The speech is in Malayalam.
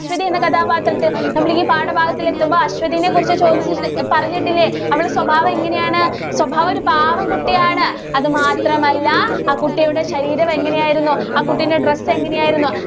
അശ്വതി എന്ന കഥാപാത്രത്തെ നമ്മളീ പാഠഭാഗത്തില്‍ എത്തുമ്പോ അശ്വതീനെ കുറിച്ച് ചോദിച്ചിട്ട്, പറഞ്ഞിട്ടില്ലേ? അവളുടെ സ്വഭാവം എങ്ങനെയാണ്? സ്വഭാവം ഒരു പാവം കുട്ടിയാണ്. അതുമാത്രമല്ല, ആ കുട്ടിയുടെ ശരീരം എങ്ങനെ ആയിരുന്നു? ആ കുട്ടീൻറെ dress എങ്ങനെയായിരുന്നു?